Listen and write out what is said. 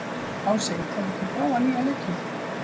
Ási, hefur þú prófað nýja leikinn?